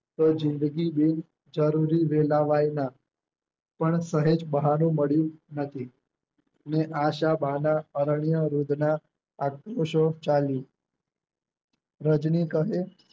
તો જિંદગી બેજરૂરી રેલાવાય ના પણ સહેજ બહાનું મળ્યું નથી એ આ શા બાના અરણ્ય રુદન આત્મ સો ચાલી. રજની કહે